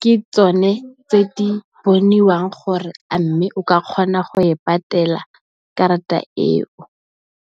ke tsone tse di boniwang gore a mme, o ka kgona go e patela karata eo.